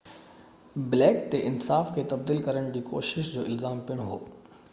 black تي انصاف کي تبديل ڪرڻ جي ڪوشش جو الزام پڻ هو